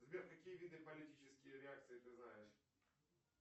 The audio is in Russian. сбер какие виды политические реакции ты знаешь